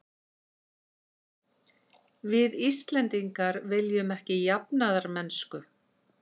Við Íslendingar viljum ekki jafnaðarmennsku.